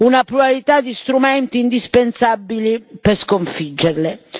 una pluralità di strumenti indispensabili per sconfiggerle.